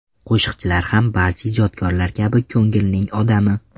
Qo‘shiqchilar ham barcha ijodkorlar kabi ko‘ngilning odami.